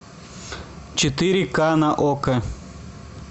четыре ка на окко